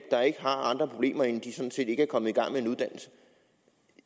der ikke har andre problemer end at de sådan set ikke er kommet